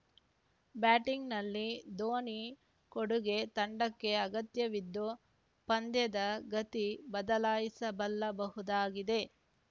ಬ್ಯಾಟಿಂಗ್‌ನಲ್ಲಿ ಧೋನಿ ಕೊಡುಗೆ ತಂಡಕ್ಕೆ ಅಗತ್ಯವಿದ್ದು ಪಂದ್ಯದ ಗತಿ ಬದಲಿಸಬಲ್ಲಬಹುದಾಗಿದೆ